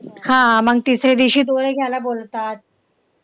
हा मग तिसऱ्या दिवशी घ्यायला बोलवतात.